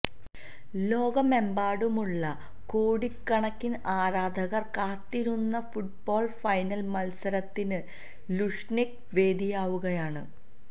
ലോകമെമ്പാടുമുള്ള കോടിക്കണക്കിന് ആരാധകര് കാത്തിരുന്ന ഫുട്ബോള് ഫൈനല് മത്സരത്തിന് ലുഷ്നികി വേദിയാവുകയാണ്